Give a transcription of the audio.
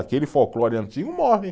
Aquele folclore antigo morre.